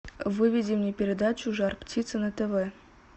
выведи мне передачу жар птица на тв